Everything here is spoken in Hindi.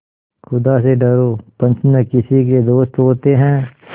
खुदा से डरो पंच न किसी के दोस्त होते हैं